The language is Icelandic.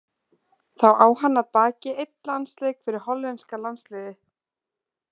Þá á hann að baki einn landsleik fyrir hollenska landsliðið.